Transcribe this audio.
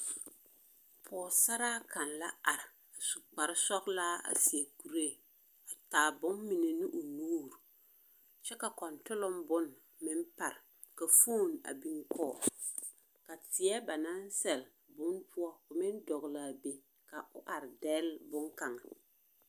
Pͻgesaraa kaŋa la are, a su kpare sͻgelaa a seԑ kuree, a taa bommine ne o nuuri. Kyԑ ka kͻntoloŋ bone meŋ pare, ka fooni a biŋ kͻge. Ka teԑ banaŋ sԑle bone poͻ ko meŋ dͻgele a be, ka o are dԑlle boŋkaŋa.